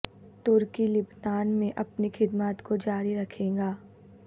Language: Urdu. ترکی لبنان میں اپنی خدمات کو جاری رکھے گا